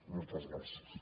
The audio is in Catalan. moltes gràcies